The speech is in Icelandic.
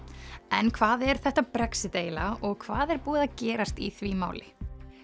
en hvað er þetta Brexit eiginlega og hvað er búið að gerast í því máli